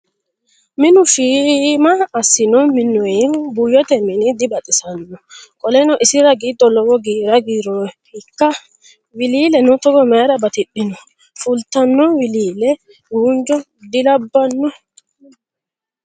Minu shiima assino minnoyihu buuyyote mini dibaxisanno? Qoleno isira giddo lowo giira giirroyiikka? Wiliileno togo mayiira batidhino? Fultanno wiliile guunjo dilabbanno?